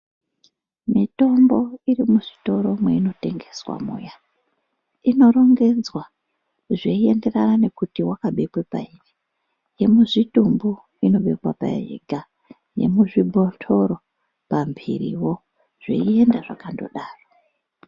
Mitombo irimizvitoro mweinotengeswa muya inorongedzwa zveienderana nekuti wakabekwa payi. Yemuzvitumbu inobekwa payo yega, yemuzvibhotoro pambiriwo zveienda zvakatodaro.